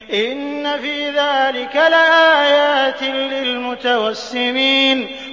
إِنَّ فِي ذَٰلِكَ لَآيَاتٍ لِّلْمُتَوَسِّمِينَ